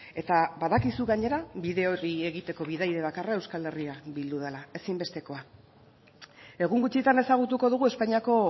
eta badakizu gainera bide horri egiteko bidaide bakarra euskal herria bildu dela ezinbestekoa egun gutxitan ezagutuko dugu espainiako